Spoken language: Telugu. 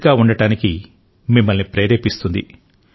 ఫిట్గా ఉండటానికి మిమ్మల్ని ప్రేరేపిస్తుంది